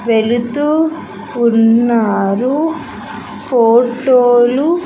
వెళుతూ ఉన్నారు ఫోటోలు .